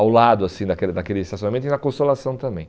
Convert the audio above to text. ao lado assim daquela daquele estacionamento e na consolação também.